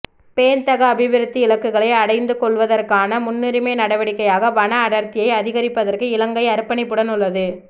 பேண்தகு அபிவிருத்தி இலக்குகளை அடைந்துகொள்வதற்கான முன்னுரிமை நடவடிக்கையாக வன அடர்த்தியை அதிகரிப்பதற்கு இலங்கை அர்ப்பணிப்புடன் உள்ளது